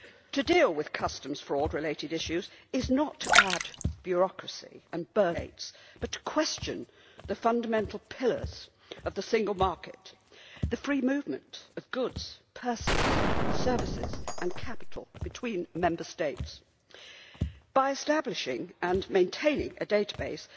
To deal with customs related fraud issues is not to add bureaucracy and burdens for Member States, but to question the fundamental pillars of the single market, the free movement of goods, persons, services and capital between Member States by establishing and maintaining a database